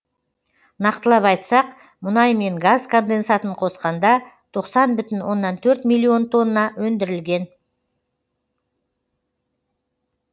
нақтылап айтсақ мұнай мен газ конденсатын қосқанда тоқсан бүтін оннан төрт миллион тонна өндірілген